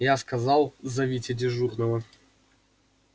я сказал зовите дежурного